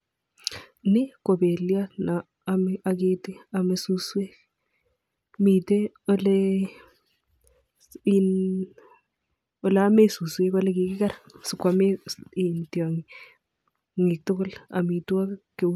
Ni ko beliot ne aketi, ne amei suswek. Mitei in oleomei suswek olekikiker sikwame tiong'ik tugul amitwagik.